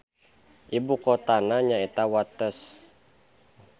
Ibu kotana nyaeta Wates.